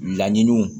Laɲiniw